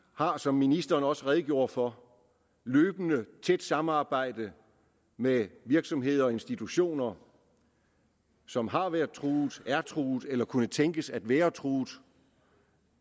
har som ministeren også redegjorde for løbende et tæt samarbejde med virksomheder og institutioner som har været truet er truet eller som kunne tænkes at være truet